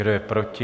Kdo je proti?